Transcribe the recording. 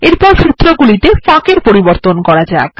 এরপর সূত্র গুলিতে ফাঁক এর পরিবর্তন করা যাক